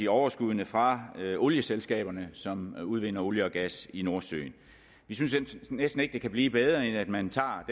overskuddene fra olieselskaberne som udvinder olie og gas i nordsøen vi synes næsten ikke det kan blive bedre end at man tager